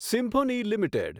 Symphony limited